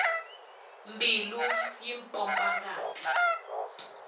mbilu yi pompa ngati